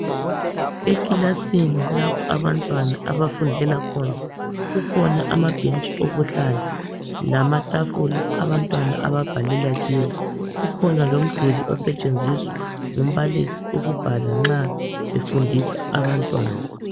Ekilasini lapha abantwana abafundela khona, kukhona amabhentshi okuhlala lamatafula abantwana ababhalela kuwo kukhona njalo umduli osetshenziswa ngumbalisi nxa efundisa abantwana.